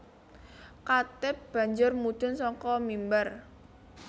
Khatib banjur mudhun saka mimbar